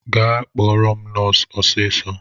Gaa kpọrọ m nọsu ọsịsọ!